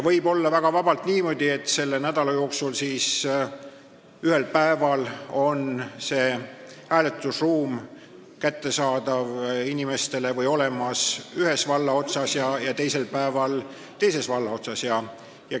Võib väga vabalt olla niimoodi, et selle nädala jooksul on ühel päeval hääletusruum valla ühes otsas ja teisel päeval teises otsas.